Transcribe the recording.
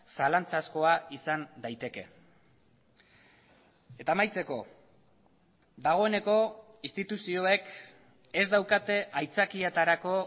zalantzazkoa izan daiteke eta amaitzeko dagoeneko instituzioek ez daukate aitzakietarako